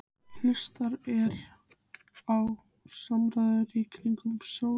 Hlustar á samræðurnar í kringum sófaborðið.